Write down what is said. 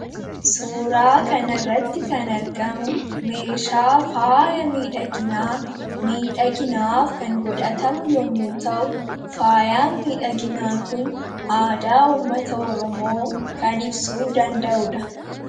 suuraa kanarratti kan argamu meeshaa faaya miidha ginaa miidha ginaaf kan godhatamu yommu ta'u faaya miidha ginaa kun aadaa ummata oromoo kan ibsuu danda'uudha